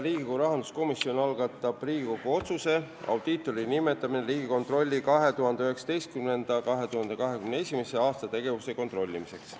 Riigikogu rahanduskomisjon algatab Riigikogu otsuse "Audiitori nimetamine Riigikontrolli 2019.–2021. aasta tegevuse kontrollimiseks".